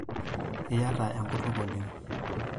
iyiata enkutuk oleng